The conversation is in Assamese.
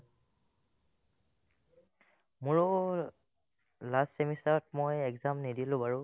মোৰো last semester ত মই exam নিদিলো বাৰু